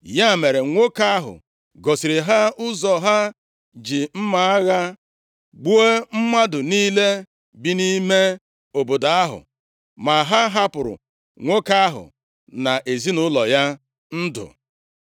Ya mere, nwoke ahụ gosiri ha ụzọ, ha ji mma agha gbuo mmadụ niile bi nʼime obodo ahụ, ma ha hapụrụ nwoke ahụ na ezinaụlọ ya ndụ.